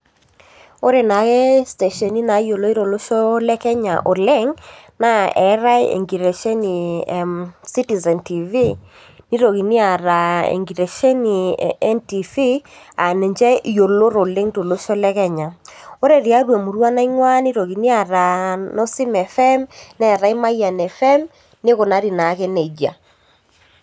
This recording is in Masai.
Ore naake stateni nayioloi tolosho lekenya oleng naa eetae enkitesheni e citizen tv, nitokini aata enkitesheni e NTV aa ninche yioloti oleng tolosho lekenya ore tiatua emurua naingua nitokini aata nosim fm ,neetae mayian frm nikunari nake nejia.